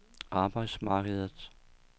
arbejdsmarkedet